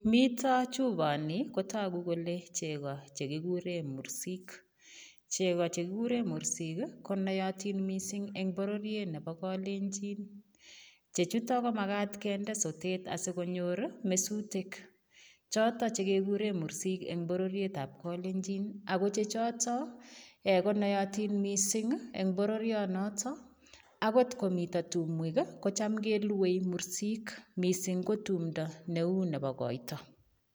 Mito chuponi kotogu kole cheko chekigure mursik. Cheko chekigure mursik konootin mising eng bororiet nebo kalenjin. Chechutok komakat kende sotet asikonyor mesutek. Chotok chekegure mursik eng bororietab kalenjin. Akochechotok, konootin mising eng bororionotok, akot komito tumwek kocham keluei mursik. Mising ko tumto neu nebo koito.